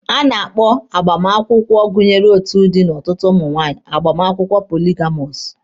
A na-akpọ agbamakwụkwọ gụnyere otu di na ọtụtụ nwunye agbamakwụkwọ poligamọsụ.